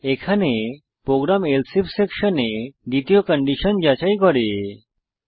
এখানে program else if সেকশনে দ্বিতীয় কন্ডিশন যাচাই করবে